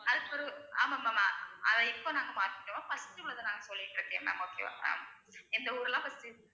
அதுக்கு பிறகு ஆமா ma'am ஆ~ அதை இப்ப நாங்க மாத்திட்டோம் first உ வந்து ma'am okay வா ma'am இந்த ஊர்லாம் first உ